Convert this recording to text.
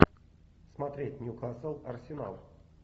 смотреть ньюкасл арсенал